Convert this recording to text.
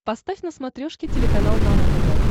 поставь на смотрешке телеканал нано тв